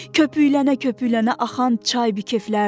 Köpüklənə-köpüklənə axan çay da keflərdi.